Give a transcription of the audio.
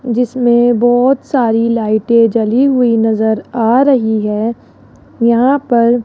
जिसमें बहोत सारी लाइटें जली हुई नजर आ रही है यहां पर --